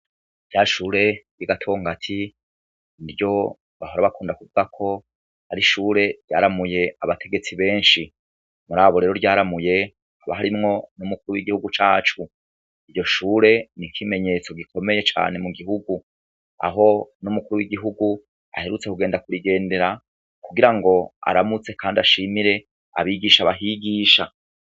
Rya shure ry'iGatongati niryo bahora bakunda kuvugako ar'ishure ryaramuye abategetsi benshi. Murabo rero ryaramuye haka harimwo numukuru w'igihugu cacu. Iryo shure n'ikimenyetso gikomeye cane mugihugu aho n'umukuru w'igihugu aherutse kugenda kurigendera, kugirango aramutse kandi ashimire abigisha bahigisha.